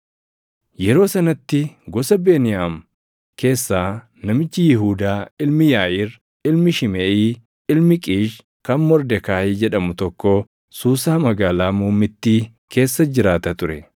Yeroo sanatti gosa Beniyaam keessaa namichi Yihuudaa ilmi Yaaʼiir, ilmi Shimeʼii, ilmi Qiish kan Mordekaayi jedhamu tokko Suusaa magaalaa muummittii keessa jiraata ture;